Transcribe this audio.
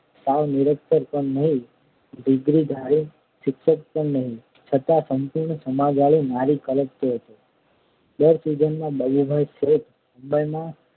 સાવ નિરક્ષર પણ નહીં અને ડિગ્રીધારી શિક્ષિત પણ નહિ છતાં સંપૂર્ણ સમજવાળી નારી કલ્પતો હતો દર સિઝનમાં બાબુભાઈ શેઠ મુંબઈનાં